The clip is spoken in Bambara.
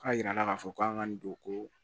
K'a jira k'a fɔ k'an ka nin don ko